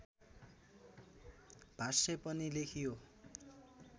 भाष्य पनि लेखियो